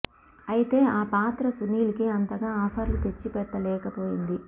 ఐతే ఆ పాత్ర సునీల్ కి అంతగా ఆఫర్లు తెచ్చిపెట్ట లేకపోయింది